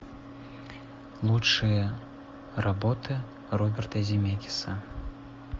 лучшие работы роберта земекиса